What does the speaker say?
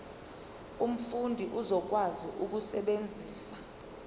umfundi uzokwazi ukusebenzisa